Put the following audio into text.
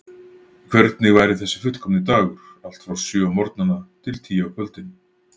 Hvernig væri þessi fullkomni dagur, allt frá sjö á morgnana til tíu á kvöldin?